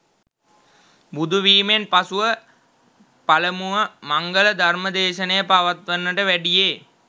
බුදුවීමෙන් පසුව පළමුව මංගල ධර්ම දේශනය පවත්වන්නට වැඩියේ